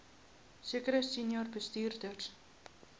sekere senior bestuurders